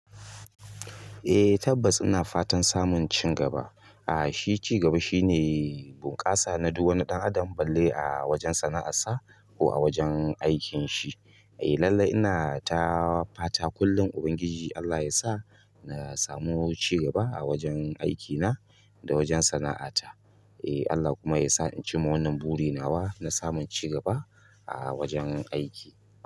Eh tabbas ina fatan samun cigaba. Aa shi cigaba shine bunƙasa na duk wani ɗan adam balle a wajen sana'arsa ko a wajen aikin shi. Eh lallai ina ta fata kullum Ubangiji Allah yasa na samu cigaba a wajen aikina da wajen sana'ata. Eh Allah kuma yasa in cimma wannan buri nawa na samun cigaba a wajen aiki.